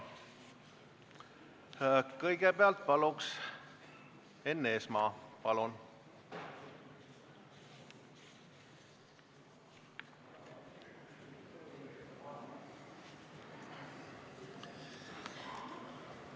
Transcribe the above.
Kõigepealt Enn Eesmaa, palun!